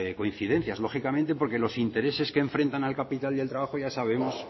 coincidencias lógicamente porque los intereses que enfrentan al capital y al trabajo ya sabemos